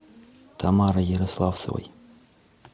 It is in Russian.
тамарой ярославцевой